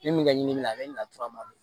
Min ka ɲi ni min a bɛ nin na